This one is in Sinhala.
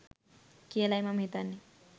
කියලයි මම හිතන්නෙ